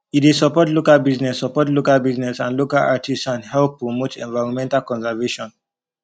e dey suppot local busines suppot local busines and local artisan help promote environmental conservation